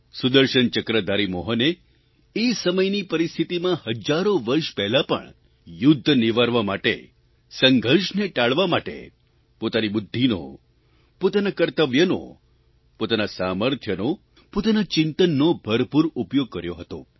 સુદર્શનચક્રધારી મોહને એ સમયની પરિસ્થિતિમાં હજારો વર્ષ પહેલાં પણ યુદ્ધ નિવારવા માટે સંઘર્ષને ટાળવા માટે પોતાની બુદ્ધિનો પોતાના કર્તવ્યનો પોતાના સામર્થ્યનો પોતાના ચિંતનનો ભરપૂર ઉપયોગ કર્યો હતો